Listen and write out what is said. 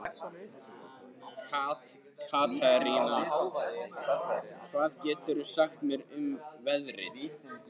Katerína, hvað geturðu sagt mér um veðrið?